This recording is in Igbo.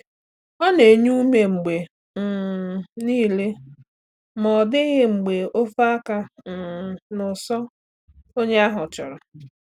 Ọ na-enye ume mgbe um niile ma ọ dịghị mgbe o fee aka um n’ụsọ onye ahụ chọrọ.